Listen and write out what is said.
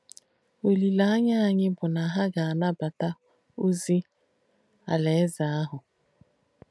Ọlíléányà ányì bù nà hà gà-ànàbáta ozì Àláèze àhù.